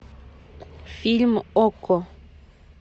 фильм окко